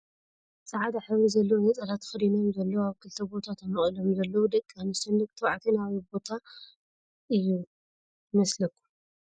ፃዕዳ ሕብሪ ዘለዎ ነፀላ ተከዲኖም ዘለው ኣብ ክልተ ቦታ ተመቂሎም ዘለው ደቂ ኣንስትዮን ደቂ ተባዕትዮን ኣበይ ቦታ እዩ ይመስለኩም ?